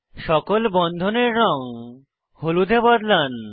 সকল বন্ধনের রঙ হলুদ এ বদলান